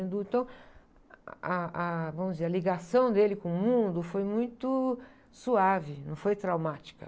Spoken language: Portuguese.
Então, ah, ah, vamos dizer, a ligação dele com o mundo foi muito suave, não foi traumática.